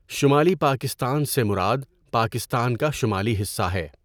شمالی پاکستان سے مراد پاکستان کا شمالی حصہ ہے۔